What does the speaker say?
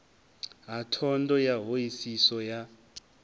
ha thondo ya hoisiso ya